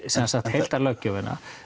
heildarlöggjöfina